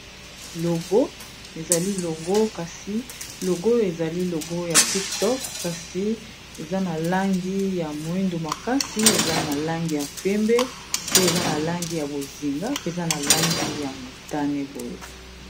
Logo, ezali logo kasi logo ezali logo ya tik tock kasi eza na langi ya moyindu makasi eza na langi ya pembe pe eza na langi ya bozinga mpe eza na langi ya motane boye.